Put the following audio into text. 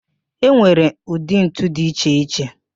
E nwere ụdị ntu dị iche iche